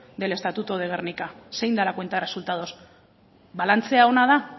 del estatuto de gernika zein da la cuenta de resultados balantzea ona da